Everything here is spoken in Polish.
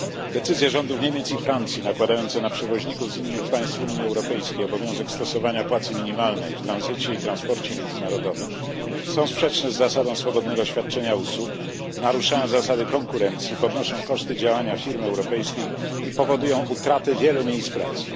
Decyzje rządów Niemiec i Francji nakładające na przewoźników z innych państw Unii Europejskiej obowiązek stosowania płacy minimalnej w tranzycie i transporcie międzynarodowym są sprzeczne z zasadą swobodnego świadczenia usług, naruszają zasady konkurencji, podnoszą koszty działania firm europejskich i powodują utratę wielu miejsc pracy.